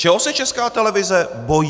Čeho se Česká televize bojí?